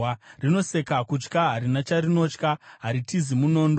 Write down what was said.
Rinoseka kutya, harina charinotya; haritizi munondo.